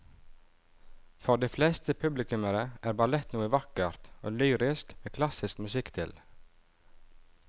For de fleste publikummere er ballett noe vakkert og lyrisk med klassisk musikk til.